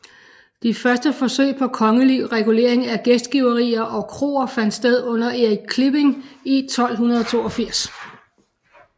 De første forsøg på kongelig regulering af gæstgiverier og kroer fandt sted under Erik Klipping i 1282